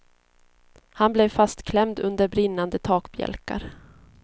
Han blev fastklämd under brinnande takbjälkar.